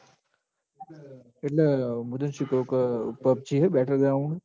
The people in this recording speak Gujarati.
એટલ મું શું કઉં ક PUBG હ battle ground